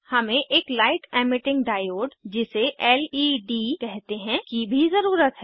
हमें एक light emitting diode जिसे लेड कहते हैं की भी ज़रुरत है